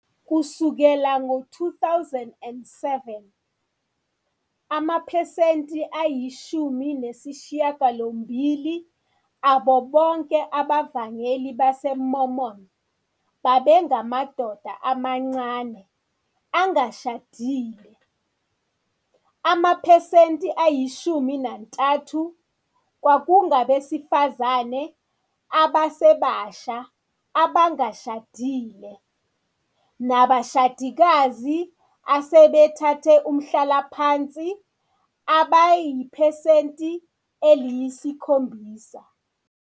Kusukela ngo-2007, amaphesenti ayi 18 abo bonke abavangeli baseMormon babengamadoda amancane, angashadile, amaphesenti ayi 13 kwakungabesifazane abasebasha abangashadile nabashadikazi asebethathe umhlalaphansi abayiphesenti eliyi 7.